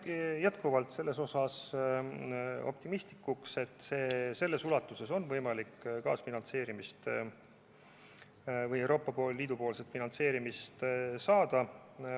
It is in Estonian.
Ma jään endiselt optimistlikuks, et selles ulatuses on võimalik kaasfinantseerimist või Euroopa Liidu poolset finantseerimist saada.